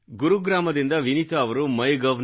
ಗುರುಗ್ರಾಮದಿಂದ ವಿನೀತಾ ಅವರು MyGov